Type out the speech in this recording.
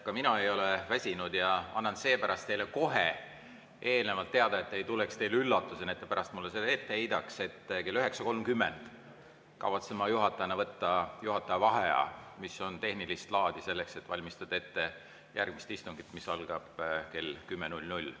Ka mina ei ole väsinud ja annan seepärast teile kohe teada, et see ei tuleks teile üllatusena ja te pärast mulle seda ette heidaks, et kell 9.30 kavatsen ma juhatajana võtta juhataja vaheaja, mis on tehnilist laadi, selleks et valmistada ette järgmist istungit, mis algab kell 10.00.